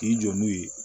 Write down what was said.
K'i jɔ n'o ye